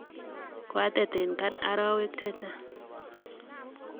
kwa atet eng arawek che chang.